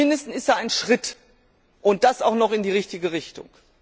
Zumindest ist er ein Schritt, und das auch noch in die richtige Richtung.